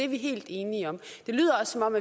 vi helt enige om det lyder også som om